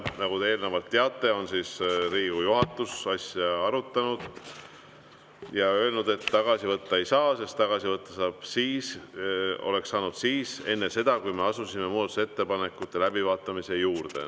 Nagu te teate, on Riigikogu juhatus asja arutanud ja öelnud, et tagasi võtta ei saa, tagasi võtta oleks saanud enne seda, kui me asusime muudatusettepanekute läbivaatamise juurde.